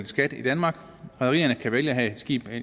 skat i danmark rederierne kan vælge at have skibe